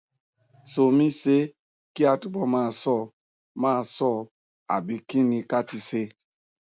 somisṣé kí a túbọ máa ṣọ máa ṣọ ọ àbí kí ni ká ti ṣe